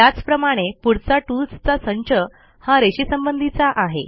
त्याचप्रमाणे पुढचा टूल्सचा संच हा रेषेसंबंधीचा आहे